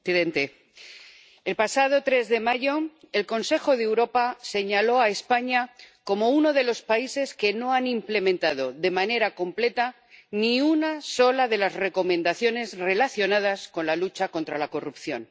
Señor presidente, el pasado 3 de mayo el Consejo de Europa señaló a España como uno de los países que no han implementado de manera completa ni una sola de las recomendaciones relacionadas con la lucha contra la corrupción.